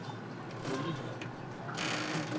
mulighederne